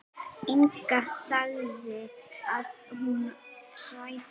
Inga sagði að hann svæfi.